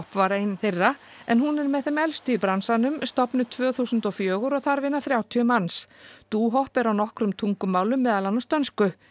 var ein þeirra en hún er með þeim elstu í bransanum stofnuð tvö þúsund og fjögur og þar vinna þrjátíu manns dohop er á nokkrum tungumálum meðal annars dönsku